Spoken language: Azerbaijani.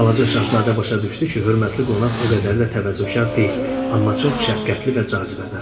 Balaca şahzadə başa düşdü ki, hörmətli qonaq o qədər də təvazökar deyildi, amma çox şəfqətli və cazibədar idi.